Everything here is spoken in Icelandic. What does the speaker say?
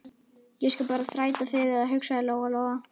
Ég skal bara þræta fyrir það, hugsaði Lóa Lóa.